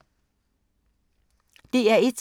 DR1